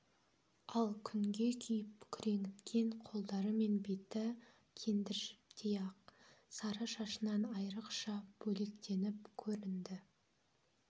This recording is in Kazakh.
ал күнге күйіп күреңіткен қолдары мен беті кендір жіптей ақ сары шашынан айырықша бөлектеніп көрінді